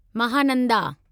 Mahananda